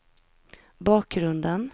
bakgrunden